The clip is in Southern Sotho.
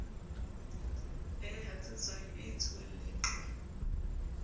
e hatsetswang e etsuwang leqhwa